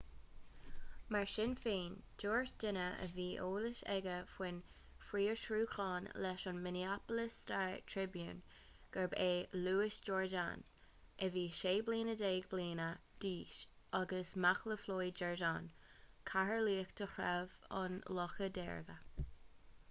mar sin féin dúirt duine a bhí eolas aige faoin bhfiosrúchán leis an minneapolis star-tribune gurb é louis jourdain a bhí 16 bliana d'aois agus mac le floyd jourdain cathaoirleach de threabh an locha deirge